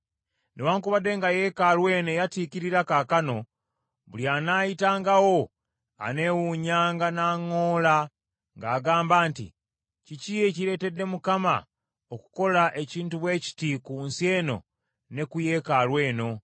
Newaakubadde nga yeekaalu eno eyatiikirira kaakano, buli anaayitangawo aneewunyanga n’aŋŋoola ng’agamba nti, ‘Kiki ekireetedde Mukama okukola ekintu bwe kiti ku nsi eno ne ku yeekaalu eno?’